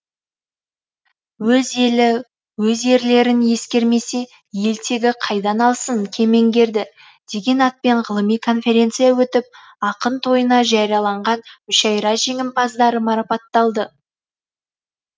өз елі өз ерлерін ескермесе ел тегі қайдан алсын кемеңгерді деген атпен ғылыми конференция өтіп ақын тойына жарияланған мүшайра жеңімпаздары марапатталды